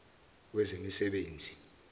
wezemisebenzi